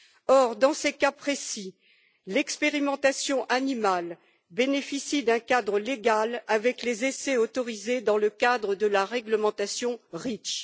Or, dans ces cas précis, l'expérimentation animale bénéficie d'un cadre légal avec les essais autorisés dans le cadre de la réglementation REACH.